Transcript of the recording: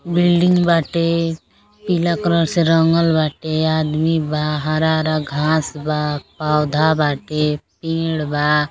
Building बाटे पीला colour से रंगल बाटे आदमी बाहरा - हरा घाँस बा पौधा बाटे पेड़ बा।